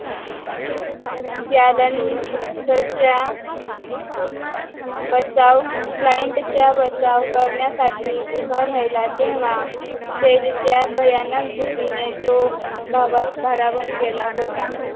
बचाव कलाईन्ट चा बचाव करण्यासाठी उभा राहिला तेव्हा तेजच्या भयानक भीतीने तो भारावून गेला होता